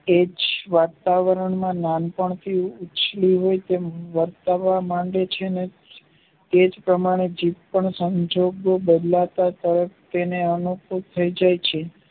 એજ વાતાવરણમાં માનવી ઉછળી હોય તેમ વર્તવા માંગે છે તેજ પ્રમાણે જીભ પણ સાંજે કે